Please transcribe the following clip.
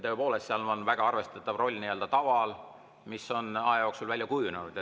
Tõepoolest, seal on väga arvestatav roll taval, mis on aja jooksul välja kujunenud.